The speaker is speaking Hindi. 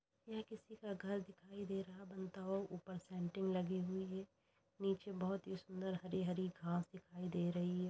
किसी का घर दिखाई दे रहा है बनता हुआ ऊपर संटिंग लगी हुई है नीचे बहोत ही सुंदर हरी हरी घास दिखाई दे रही है ।